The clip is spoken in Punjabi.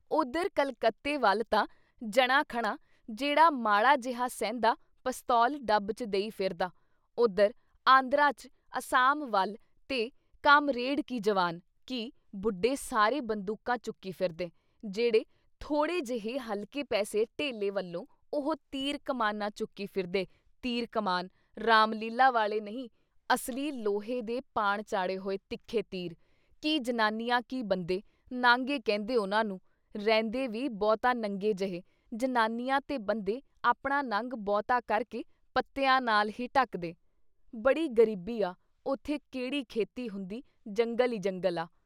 ਉੱਧਰ ਕਲਕੱਤੇ ਵੱਲ ਤਾਂ ਜਣਾ ਖਣਾ ਜਿਹੜਾ ਮਾੜਾ ਜੇਹਾ ਸਹਿੰਦਾ ਪਸਤੌਲ ਡੱਬ ਚ ਦੇਈ ਫਿਰਦਾ, ਉੱਧਰ ਆਂਧਰਾ 'ਚ, ਅਸਾਮ ਵੱਲ ਤੇ ਕਾਮਰੇਡ ਕੀ ਜਵਾਨ, ਕੀ ਬੁੱਢੇ ਸਾਰੇ ਬੰਦੂਕਾਂ ਚੁੱਕੀ ਫਿਰਦੇ, ਜਿਹੜੇ ਥੋੜ੍ਹੇ ਜਿਹੇ ਹਲਕੇ ਪੈਸੇ ਧੇਲੇ ਵੱਲੋਂ ਉਹ ਤੀਰ-ਕਮਾਨਾਂ ਚੁੱਕੀ ਫਿਰਦੇ ਤੀਰ ਕਮਾਨ, ਰਾਮਲੀਲ੍ਹਾ ਵਾਲੇ ਨਹੀਂ ਅਸਲੀ ਲੋਹੇ ਦੇ ਪਾਣ ਚਾੜੇ ਹੋਏ ਤਿੱਖੇ ਤੀਰ, ਕੀ ਜਨਾਨੀਆਂ ਕੀ ਬੰਦੇ ਨਾਂਗੇ ਕਹਿੰਦੇ ਉਨ੍ਹਾਂ ਨੂੰ, ਰਹਿੰਦੇ ਵੀ ਬਹੁਤਾ ਨੰਗੇ ਜਹੇ ਜਨਾਨੀਆਂ ਤੇ ਬੰਦੇ ਆਪਣਾ ਨੰਗ ਬਹੁਤਾ ਕਰਕੇ ਪੱਤਿਆਂ ਨਾਲ ਹੀ ਢਕਦੇ। ਬੜੀ ਗਰੀਬੀ ਆ, ਉਥੇ ਕਿਹੜੀ ਖੇਤੀ ਹੁੰਦੀ ਜੰਗਲ ਈ ਜੰਗਲ ਆ।